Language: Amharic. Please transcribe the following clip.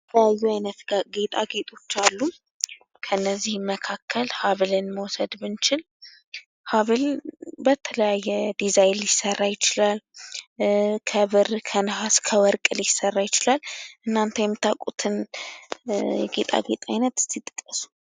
የተለያዩ ጌጣጌጦች አሉ። ከነዚህም መካከል ሀብልን መውሰድ ብንችል ሀብል በተለያየ ዲዛይን ሊሰራ ይችላል ።ከብር ፣ከወርቅ፣ ከነሀስ ሊሰራ ይችላል ።እናንተ የምታውቋቸውን ጌጣጌጦች ዝርዝር?